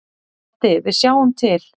Broddi: Við sjáum til.